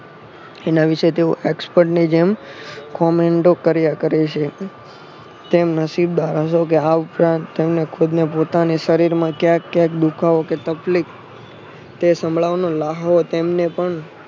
એના વિશે તેઓ Export ની જેમ commento કર્યા છે. તેમ આ ઉપરાંત તેમને ખુદ ને પોતાના શરીર માં ક્યાંક ક્યાંક દુખાવો કે તકલીફ તે સાંભળવાનો લ્હાવો તેમને પણ